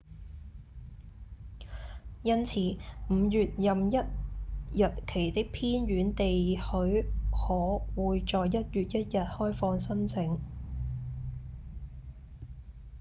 因此5月任一日期的偏遠地許可會在1月1日開放申請